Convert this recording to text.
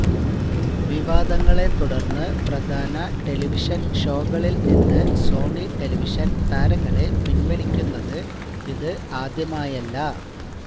വിവാദങ്ങളെത്തുടര്ന്ന് പ്രധാന ടെലിവിഷന് ഷോകളില് നിന്ന് സോണി ടെലിവിഷന് താരങ്ങളെ പിന്വലിക്കുന്നത് ഇത് ആദ്യമായല്ല